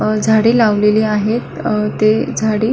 अ झाडे लावलेली आहेत अ ते झाडी --